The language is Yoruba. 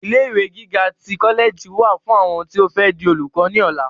Ilé ìwé gíga tí kọlẹẹjì wà fún àwọn tí o fẹ di olùkọ ni ọlá.